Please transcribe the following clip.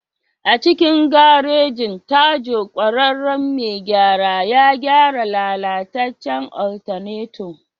A cikin garejin, Tajo ƙwararren mai gyara ya gyara lalatacen alternator.